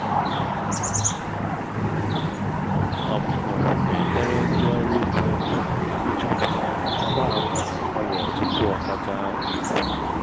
ọmụmụ na-enyere ndị ọrụ ugbo ịchọpụta mgbaàmà ọrịa tupu o kacha ibu